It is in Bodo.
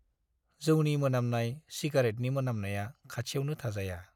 जौनि मोनामनाय, सिगारेटनि मोनामनाया खाथियावनो थाजाया।